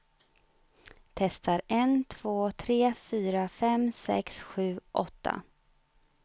Testar en två tre fyra fem sex sju åtta.